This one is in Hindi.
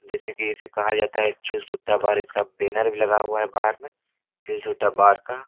जैसे की इसे कहा जाता है चिल सुट्टा बार इसका बैनर भी लगा हुआ है बार मे चिल सुट्टा बार का।